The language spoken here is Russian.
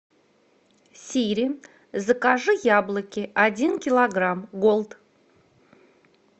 сири закажи яблоки один килограмм голд